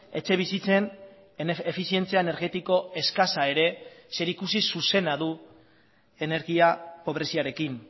etxebizitzen efizientzia energetiko eskasa ere zerikusi zuzena du energia pobreziarekin